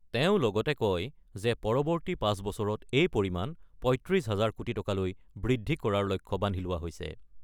তেওঁ লগতে কয় যে পৰৱৰ্তী ৫ বছৰত এই পৰিমাণ ৩৫ হাজাৰ কোটি টকালৈ বৃদ্ধি কৰাৰ লক্ষ্য বান্ধি লোৱা হৈছে।